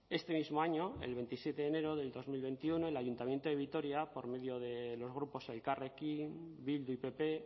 este mismo año el veintisiete de enero del dos mil veintiuno el ayuntamiento de vitoria por medio de los grupos elkarrekin bildu y pp